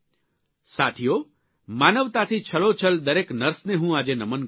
સાથીઓ માનવતાથી છલોછલ દરેક નર્સને હું આજે નમન કરું છું